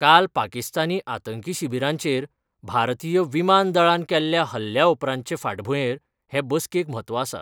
काल पाकिस्तानी आतंकी शिबिरांचेर भारतीय विमान दळान केल्ल्या हल्ल्या उपरांतचे फाटभुंयेर हे बसकेक म्हत्व आसा.